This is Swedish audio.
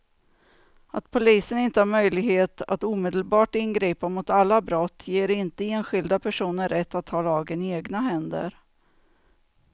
Att polisen inte har möjlighet att omedelbart ingripa mot alla brott ger inte enskilda personer rätt att ta lagen i egna händer.